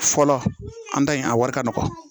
Fɔlɔ an ta in a wari ka nɔgɔ